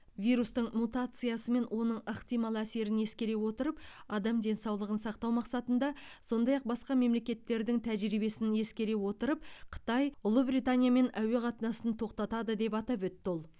вирустың мутациясы мен оның ықтимал әсерін ескере отырып адам денсаулығын сақтау мақсатында сондай ақ басқа мемлекеттердің тәжірибесін ескере отырып қытай ұлыбританиямен әуе қатынасын тоқтатады деп атап өтті ол